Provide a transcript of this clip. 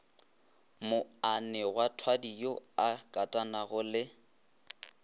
moanegwathwadi yo a katanago le